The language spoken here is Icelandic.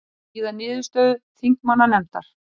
Bíða niðurstöðu þingmannanefndar